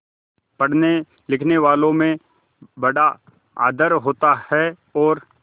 पढ़नेलिखनेवालों में बड़ा आदर होता है और